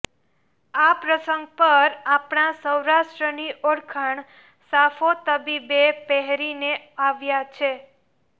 આ પ્રસંગ પર આપણા સૌરાષ્ટ્રની ઓળખાણ સાફો તબીબે પહેરીને આવ્યા છે